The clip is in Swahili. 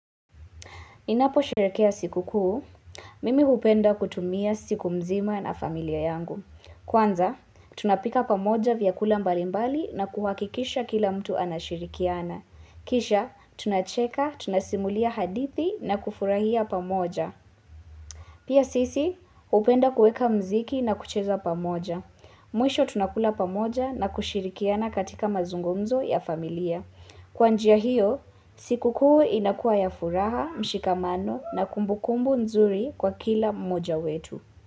Ninaposherekea siku kuu, mimi hupenda kutumia siku mzima na familia yangu. Kwanza, tunapika pamoja vyakula mbalimbali na kuhakikisha kila mtu anashirikiana. Kisha, tunacheka, tunasimulia hadithi na kufurahia pamoja. Pia sisi, hupenda kueka muziki na kucheza pamoja. Mwisho tunakula pamoja na kushirikiana katika mazungumzo ya familia. Kwa njia hio, siku kuu inakuwa ya furaha, mshikamano na kumbukumbu nzuri kwa kila moja wetu.